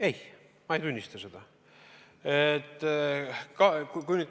Ei, ma ei tunnista seda.